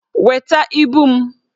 Weta ibu m!